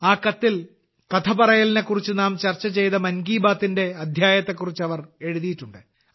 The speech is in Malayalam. ആ കത്തിൽ കഥ പറയലിനെക്കുറിച്ച് നാം ചർച്ച ചെയ്ത മൻ കി ബാത്ത്ന്റെ അദ്ധ്യായത്തെക്കുറിച്ച് അവർ എഴുതിയിട്ടുണ്ട്